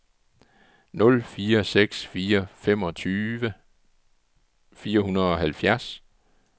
nul fire seks fire femogtredive fire hundrede og halvfjerds